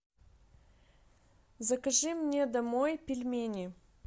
закажи мне домой пельмени